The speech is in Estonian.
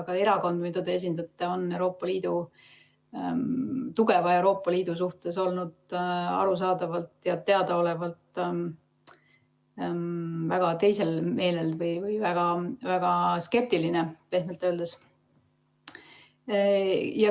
Ka erakond, mida te esindate, on Euroopa Liidu, tugeva Euroopa Liidu suhtes olnud arusaadavalt ja teadaolevalt väga teisel meelel või väga skeptiline, pehmelt öeldes.